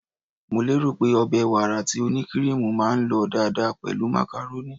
Mo lérò pé ọbẹ̀ wàrà tí ó ní kiriimu máa lọ dáadáa pẹ̀lú macaroni.